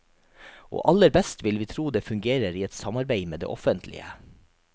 Og aller best vil vi tro det fungerer i et samarbeid med det offentlige.